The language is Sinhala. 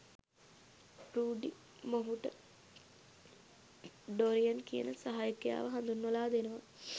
රූඩි මොහුට ඩොරියන් කියන සහයකයාව හඳුන්වලා දෙනවා